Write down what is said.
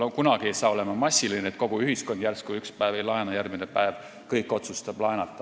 Kunagi ei saa see olla massiline, et kogu ühiskond üks päev ei laena, aga siis järgmine päev kõik otsustavad laenata.